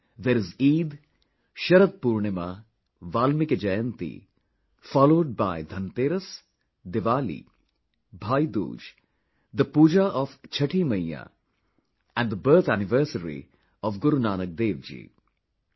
There is Eid, Sharad Poornima, Valmiki Jayanti, followed by Dhanteras, Diwali, Bhai dooj, the Pooja of Chatthi Maiyya and the birth anniversary of Guru Nanak Dev ji...